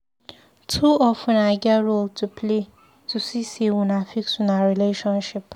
Two of una get role to play to see sey una fix una relationship.